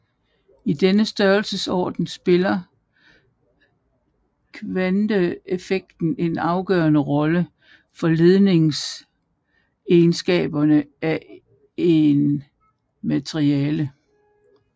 I denne størelsesorden spiller kvanteeffekter en afgørende rolle for ledningsegenskaberne af et materialle